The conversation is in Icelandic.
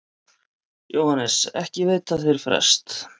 JÓHANNES: Ekki veita þeir frest.